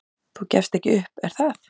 """Þú gefst ekki upp, er það?"""